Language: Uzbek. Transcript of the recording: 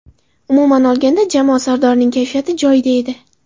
Umuman olganda, jamoa sardorining kayfiyati joyida edi.